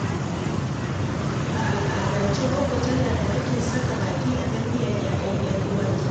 A al'adance gwaggo tana da haƙƙin saka baki a tarbiyyar 'ya'yan 'yar uwarta.